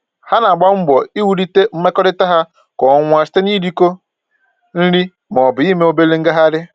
Ha na-agba mbọ iwulite mmekọrịta ha kwa ọnwa site na-irikọ nri maọbụ ime obere ngagharị